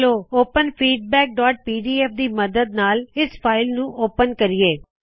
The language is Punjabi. ਚਲੋ ਓਪਨ feedbackਪੀਡੀਐਫ ਦੀ ਮੱਦਦ ਨਾਲ ਇਸ ਫਾਇਲ ਨੂੰ ਓਪਨ ਕਰਿਏ